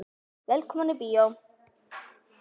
Velkomnir í bíó.